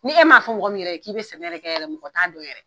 Ni e m'a fɔ mɔgɔ min yɛrɛ ye, k'i be sɛnɛ yɛrɛ kɛ yɛɛ mɔgɔ t'a don yɛrɛ.